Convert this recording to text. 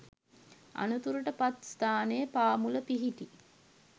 අනතුරට පත් ස්ථානය පාමුල පිහිටි